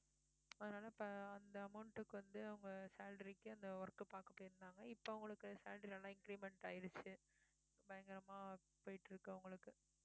அதனால இப்போ அந்த amount க்கு வந்து அவங்க salary க்கு அந்த work பார்க்க போயிருந்தாங்க இப்ப அவங்களுக்கு salary நல்லா increment ஆயிருச்சு பயங்கரமா போயிட்டு இருக்கு அவங்களுக்கு